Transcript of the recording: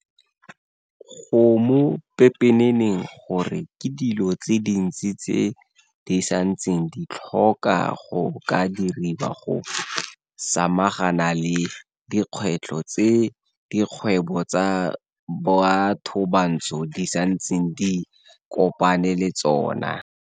Go mo pepeneneng gore ke dilo tse dintsi tse di santseng di tlhoka go ka diriwa go samagana le dikgwetlho tse dikgwebo tsa bathobantsho di santseng di kopana le tsona.